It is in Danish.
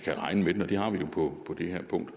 kan regne med den og det har vi jo på det her punkt